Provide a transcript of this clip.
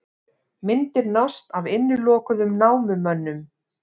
Myndir nást af innilokuðum námumönnum